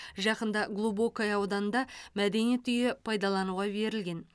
жақында глубокое ауданында мәдениет үйі пайдалануға берілген